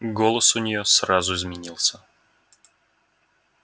голос у неё сразу изменился